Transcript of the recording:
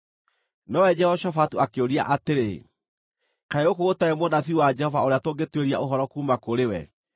Nowe Jehoshafatu akĩũria atĩrĩ, “Kaĩ gũkũ gũtarĩ mũnabii wa Jehova ũrĩa tũngĩtuĩria ũhoro kuuma kũrĩ we?”